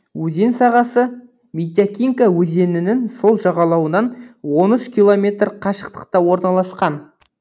өзен сағасы митякинка өзенінің сол жағалауынан он үш километр қашықтықта орналасқан